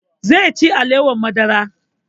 Zai ci alewar madara